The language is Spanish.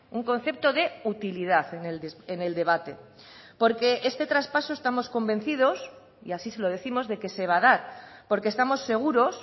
un concepto de utilidad en el debate porque este traspaso estamos convencidos y así se lo décimos de que se va a dar porque estamos seguros